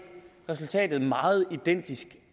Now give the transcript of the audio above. resultatet er meget identisk